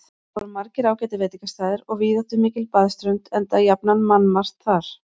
Þar voru margir ágætir veitingastaðir og víðáttumikil baðströnd, enda jafnan mannmargt þar.